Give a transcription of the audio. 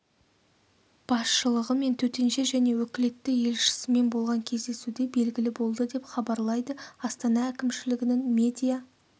басшылығы мен төтенше және өкілетті елшісімен болған кездесуде белгілі болды деп хабарлайды астана әкімшілігінің медиа